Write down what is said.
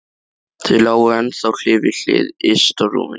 Þau lágu ennþá hlið við hlið yst á rúminu.